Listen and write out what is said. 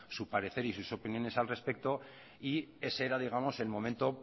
su parecer y sus opiniones al respecto y ese era digamos el momento